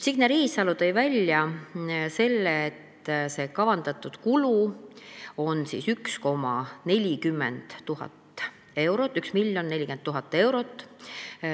Signe Riisalo tõi välja, et kavandatud kulu on 1 040 000 eurot.